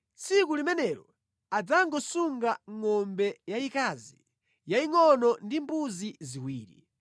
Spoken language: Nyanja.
Tsiku limenelo adzangosunga ngʼombe yayikazi yayingʼono ndi mbuzi ziwiri.